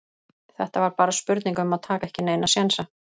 Þetta var bara spurning um að taka ekki neina sénsa.